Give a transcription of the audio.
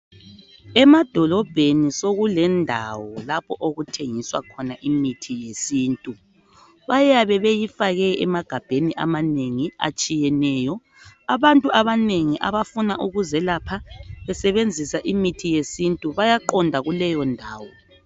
Emadolobheni sokulendawo lapho okuthengiswa khona imithi yesintu bayabe beyifake emagabheni amanengi atshiyeneyo, abantu abanengi abafuna ukuzelapha besebenzisa imithi yesintu bayaqonda kuleyo ndawo.